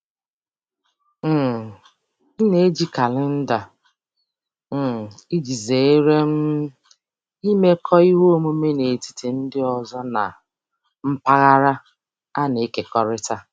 um M na-eji kalenda um iji zere um imekọ ihe omume n'etiti ndị ọzọ na mpaghara a na-ekekọrịta.